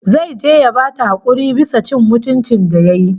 Zai je ya bata hakuri bisa cin mutuncin ta da yayi